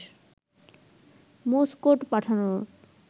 Morse code পাঠানোর